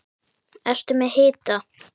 Ertu með hita?